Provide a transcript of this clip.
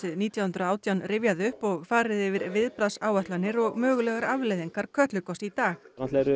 nítján hundruð og átján rifjað upp og farið yfir viðbragðsáætlanir og mögulegar afleiðingar Kötlugoss í dag